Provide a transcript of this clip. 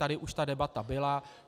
Tady už ta debata byla.